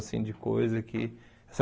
Assim de coisa que essa